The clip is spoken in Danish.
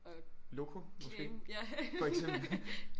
Loco måske for eksempel